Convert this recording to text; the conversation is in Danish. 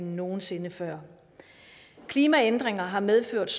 end nogen sinde før klimaændringer har medført